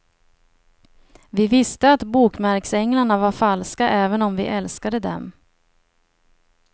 Vi visste att bokmärksänglarna var falska även om vi älskade dem.